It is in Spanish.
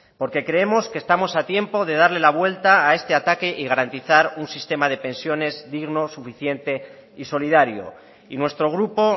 porque creemos que estamos a tiempo de darle la vuelta a este ataque y garantizar un sistema de pensiones digno suficiente y solidario y nuestro grupo